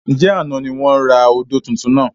Ǹjẹ́ àná ni wọn rà odò tuntun náà?